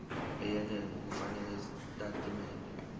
eyenele ngokufakela izitatimende